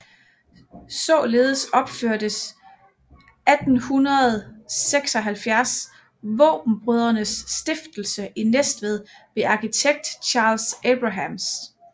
Således opførtes 1876 Vaabenbrødrenes Stiftelse i Næstved ved arkitekt Charles Abrahams